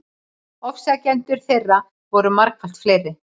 Ofsækjendur þeirra voru margfalt fleiri.